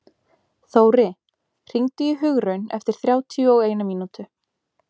Þóri, hringdu í Hugraun eftir þrjátíu og eina mínútur.